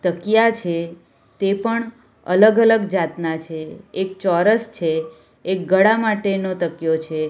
તકિયા છે તે પણ અલગ-અલગ જાતના છે એક ચોરસ છે એક ગળા માટેનો તકિયો છે.